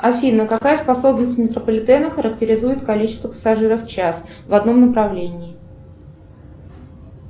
афина какая способность метрополитена характеризует количество пассажиров в час в одном направлении